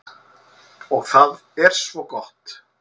Og það er svo gott.